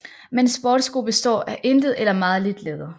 Men sportssko består af intet eller meget lidt læder